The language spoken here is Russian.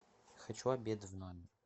хочу обед в номер